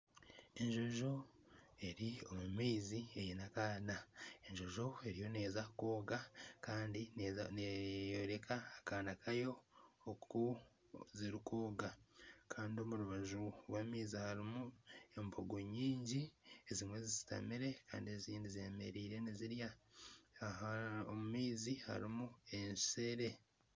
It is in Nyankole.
Enjojo eri omu maizi eyine akaana. Enjojo eriyo neeza kwoga kandi neyoreka akaana kaayo oku zirikwoga kandi omu rubaju rw'amaizi harimu embogo nyingi ezimwe zisitamire kandi ezindi zirimu nizirya. Omu maizi harimu eshere.